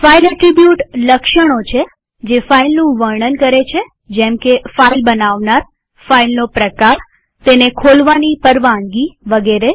file attribute લક્ષણો છે જે ફાઈલનું વર્ણન કરે છે જેમકે ફાઈલ બનાવનારફાઈલનો પ્રકારતેને ખોલવાની પરવાનગીવગેરે